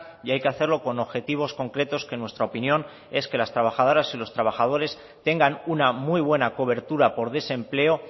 y hay que hacerlo con objetivos concretos que en nuestra opinión es que las trabajadoras y los trabajadores tengan una muy buena cobertura por desempleo